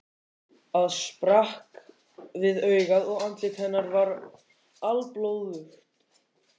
Æð sprakk við augað og andlit hennar var alblóðugt.